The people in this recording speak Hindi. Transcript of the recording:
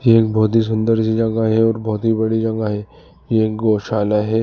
ये एक बहोत ही सुंदर सी जगह है और बहोत ही बड़ी जगह है। ये एक गोशाला है।